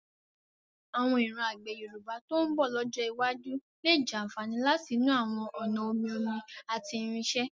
Àwọn ìran àgbẹ̀ Yorùbá tó ń bọ̀ lọ́jọ́ iwájú lè jàfààní láti inú àwọn ọ̀nà omi-omi àti irinṣẹ́.